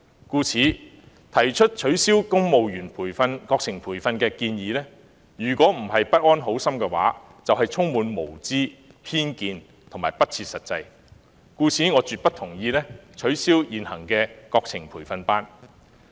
故此，提出取消公務員國情培訓建議的人，若非不安好心，便是無知、帶有偏見和不切實際，所以我絕不同意取消現行的國情培訓班。